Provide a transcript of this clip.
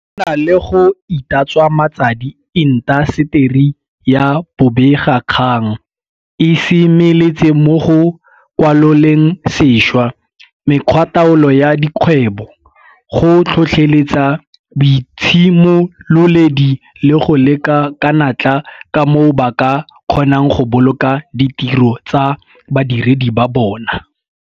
Go na le go itatswa matsadi, intaseteri ya bobegakgang e semeletse mo go kwaloleng sešwa mekgwataolo ya dikgwebo, go tlhotlheletsa boitshimololedi le go leka ka natla ka moo ba ka kgonang go boloka ditiro tsa badiredi ba bona.